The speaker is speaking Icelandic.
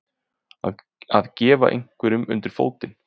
Að gefa einhverjum undir fótinn